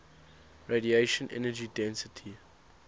radiation energy density